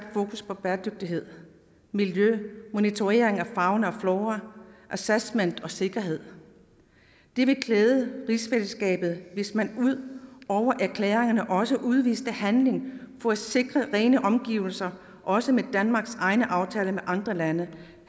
fokus på bæredygtighed miljø monitorering af fauna og flora assessment og sikkerhed det ville klæde rigsfællesskabet hvis man ud over erklæringerne også udviste handling for at sikre rene omgivelser også med danmarks egne aftaler med andre lande